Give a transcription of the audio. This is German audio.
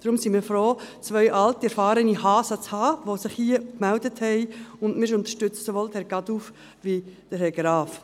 Deshalb sind wir froh, zwei alte erfahrene Hasen zu haben, die sich hier gemeldet haben, und wir unterstützen sowohl Herrn Caduff als auch Herrn Graf.